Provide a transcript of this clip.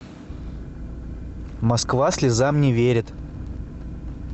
москва слезам не верит